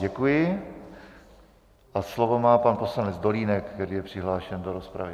Děkuji a slovo má pan poslanec Dolínek, který je přihlášen do rozpravy.